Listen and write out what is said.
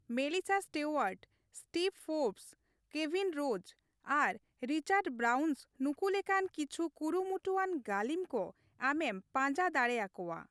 Melissa Stewart, Steve Forbes, Kevin Rose ᱟᱨ Richard Branson ᱱᱩᱠᱩ ᱞᱮᱠᱟᱱ ᱠᱤᱪᱷᱩ ᱠᱩᱨᱩᱢᱩᱴᱩᱣᱟᱱ ᱜᱟᱹᱞᱤᱢ ᱠᱚ ᱟᱢᱮᱢ ᱯᱟᱸᱡᱟ ᱫᱟᱲᱮ ᱟᱠᱚᱣᱟ ᱾